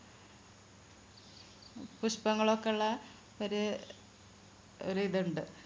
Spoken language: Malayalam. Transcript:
പുഷ്പങ്ങൾ ഒക്കെ ഉള്ള ഒരു ഒരിതുണ്ട്